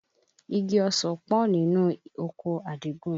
Igi ọsàn pọ̀ nínú oko Àdìgún